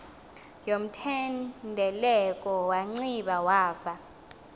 yomthendeleko wanciba wava